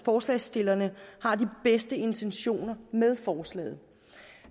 forslagsstillerne har de bedste intentioner med forslaget